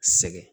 Segin